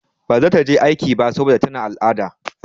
Ba za ta je aiki ba saboda tana al'ada.